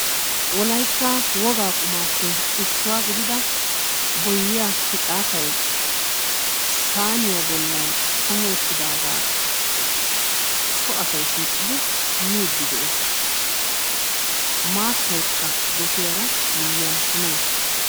Wolaytta wogaa qumaappe issuwaa gidida boyyiya picaatay saaniyaa bollan kumi uttidaaga so asay shiiqidi miiddi de'ees. Maattaykka gosiyaara miyiyan kumi uttis.